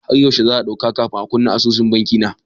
Har yaushe za'a ɗauka kafin a kunna asusun banki na?